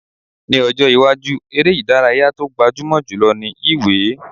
Ní ọjọ́ iwájú, eré ìdárayá tó gbajúmọ̀ jù lọ ni yíwèé